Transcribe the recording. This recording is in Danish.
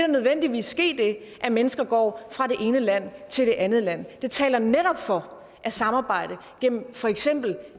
nødvendigvis ske det at mennesker går fra det ene land til det andet land og det taler netop for at samarbejde gennem for eksempel